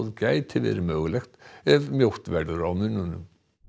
gæti verið mögulegt ef mjótt verður á munum